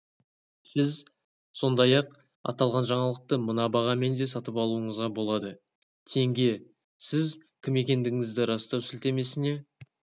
сіз сондай-ақ аталған жаңалықты мына бағамен де сатып алуыңызға болады тенге сіз кім екендігіңізді растау сілтемесіне